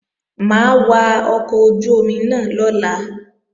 Mà á wa ọkọ̀ ojú-omi náà lọ́la